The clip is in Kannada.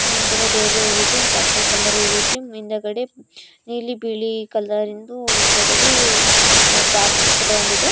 ನಂತರ ಡೈರಿ ಹೂವ ಇದೆ ಒಂದು ಪರ್ಪಲ್ ಕಲರ್ ಹೂವಿದೆ ಹಿಂದಗಡೆ ನೀಲಿ ಬಿಳಿ ಕಲರಿಂದು ಹಿಂದೆಗದೆ ಬ್ಯಾಕ್ಗ್ರೌಂಡ್ ಇದೆ .